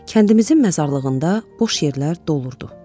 Kəndimizin məzarlığında boş yerlər dolurdu.